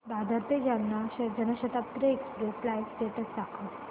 दादर ते Jalna Janshatabdi express live status दाखव